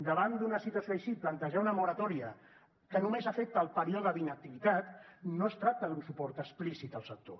davant d’una situació així plantejar una moratòria que només afecta el període d’inactivitat no es tracta d’un suport explícit al sector